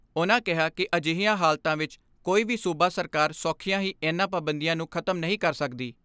ਉਨ੍ਹਾਂ ਕਿਹਾ ਕਿ ਅਜਿਹੀਆਂ ਹਾਲਤਾਂ ਵਿੱਚ ਕੋਈ ਵੀ ਸੂਬਾ ਸਰਕਾਰ ਸੌਖਿਆਂ ਹੀ ਇਨ੍ਹਾਂ ਪਾਬੰਦੀਆਂ ਨੂੰ ਖਤਮ ਨਹੀਂ ਕਰ ਸਕਦੀ।